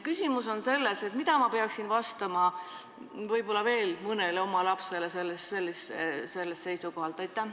Küsimus on selles, et mida ma peaksin võib-olla veel mõnele oma lapsele sellest seisukohast vastama.